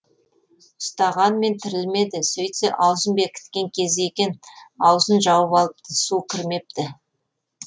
ұстағанмен тірілмеді сөйтсе аузын бекіткен кезі екен аузын жауып алыпты су кірмепті